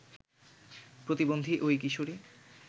প্রতিবন্ধী ওই কিশোরী